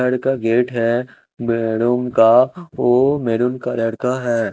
घर का गेट है बेडरूम का वो मैरून कलर का है।